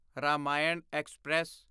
Ramayana express